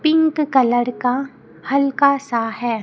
Pink colour का हल्का सा है।